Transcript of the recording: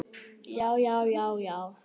Já, já, já, já!